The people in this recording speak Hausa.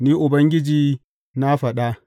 Ni Ubangiji na faɗa.